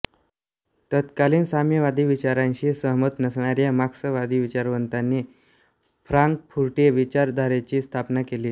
तत्कालीन साम्यवादी विचारांशी सहमत नसणाऱ्या मार्क्सवादी विचारवंतांनी फ्रांकफुर्टी विचारधारेची स्थापना केली